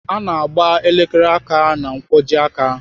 Ana agba elekere aka ná nkwojiaka.